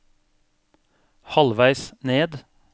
halvveis ned